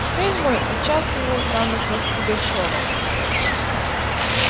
сын мой участвовал в замыслах пугачёва